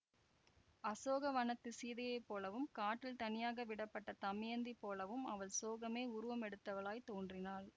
அசோகவனத்துச் சீதையைப் போலவும் காட்டில் தனியாக விடப்பட்ட தமயந்தி போலவும் அவள் சோகமே உருவம் எடுத்தவளாய்த் தோன்றினாள்